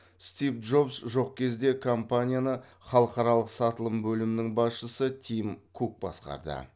стив джобс жоқ кезде компанияны халықаралық сатылым бөлімінің басшысы тим кук басқарды